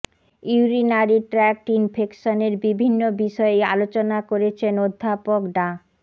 urinary tract ইনফেকশনের বিভিন্ন বিষয়ে আলোচনা করেছেন অধ্যাপক ডা